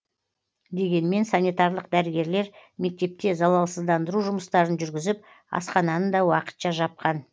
дегенмен санитарлық дәрігерлер мектепте залалсыздандыру жұмыстарын жүргізіп асхананы да уақытша жапқан